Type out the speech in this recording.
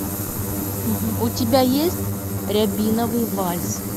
у тебя есть рябиновый вальс